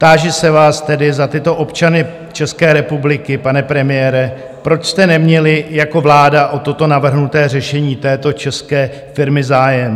Táži se vás tedy za tyto občany České republiky, pane premiére, proč jste neměli jako vláda o toto navržené řešení této české firmy zájem?